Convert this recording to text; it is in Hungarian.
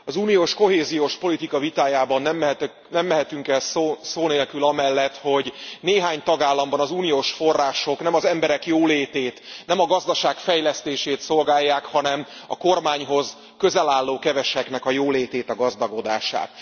Az uniós kohéziós politika vitájában nem mehetünk el szó nélkül amellett, hogy néhány tagállamban az uniós források nem az emberek jólétét, nem a gazdaság fejlesztését szolgálják, hanem a kormányhoz közel álló keveseknek a jólétét, a gazdagodását.